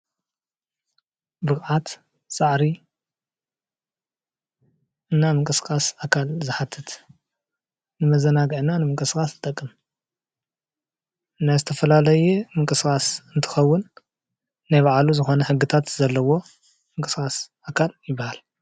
ብቅዓት፣ ፃዕሪ እና ምንቅስቃስ ኣካል ዝሓትት ንመዘናግዒ እና ንምንቆስቅስ ዝጠቅም ን ዝተፈላለዩ ምንቅስቃስ እንትኸውን ናይ ባዕሉ ዝኮነ ሕግታት ዘለዎ ምንቅስቃስ ኣካል ይበሃል ።